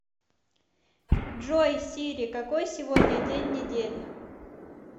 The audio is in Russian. джой сири какой сегодня день недели